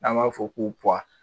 N'an b'a fɔ k'u